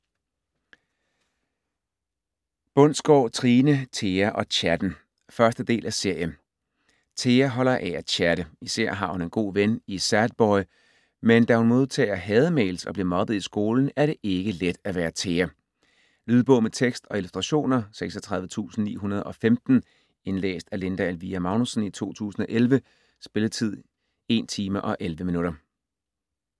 Bundsgaard, Trine: Thea og chatten 1. del af serie. Thea holder af at chatte, især har hun en god ven i Sadboy. Men da hun modtager "hademails" og bliver mobbet i skolen er det ikke let at være Thea. Lydbog med tekst og illustrationer 36915 Indlæst af Linda Elvira Magnussen, 2011. Spilletid: 1 timer, 11 minutter.